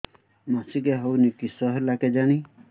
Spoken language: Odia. ମାସିକା ହଉନି କିଶ ହେଲା କେଜାଣି